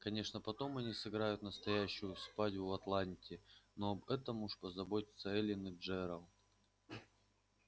конечно потом они сыграют настоящую свадьбу в атланте но об этом уж позаботятся эллин и джералд